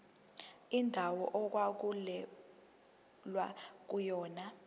indawo okwakulwelwa kuyona